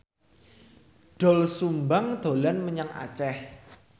Doel Sumbang dolan menyang Aceh